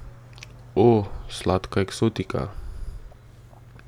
O, sladka eksotika!